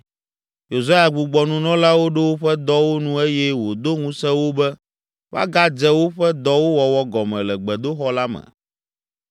Yosia gbugbɔ nunɔlawo ɖo woƒe dɔwo nu eye wòdo ŋusẽ wo be woagadze woƒe dɔwo wɔwɔ gɔme le gbedoxɔ la me.